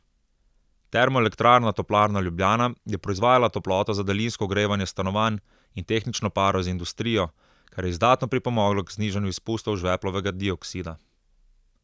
Termoelektrarna Toplarna Ljubljana je proizvajala toploto za daljinsko ogrevanje stanovanj in tehnično paro za industrijo, kar je izdatno pripomoglo k znižanju izpustov žveplovega dioksida.